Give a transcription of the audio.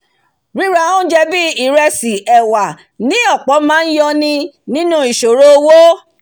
ríra óúnje bíi ìresì ẹ̀wà ní ọ̀pọ̀ máá yọ ni kúrò nínú ìsòro owó